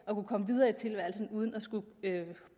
kunne komme videre i tilværelsen uden at skulle